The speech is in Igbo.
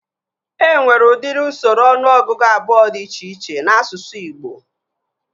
E nwere udiri usoro ọnụọgụgụ abụọ dị iche iche n'asụsụ Ịgbo